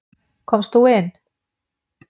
Komst þú inn?